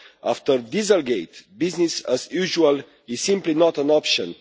After Dieselgate, business as usual is simply not an option.